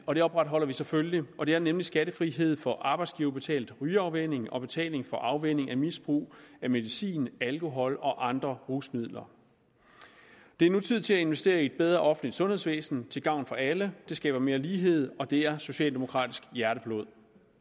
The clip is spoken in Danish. og det opretholder vi selvfølgelig og det er nemlig skattefrihed for arbejdsgiverbetalt rygeafvænning og betaling for afvænning af misbrug af medicin alkohol og andre rusmidler det er nu tid til at investere i et bedre offentligt sundhedsvæsen til gavn for alle det skaber mere lighed og det er socialdemokratisk hjerteblod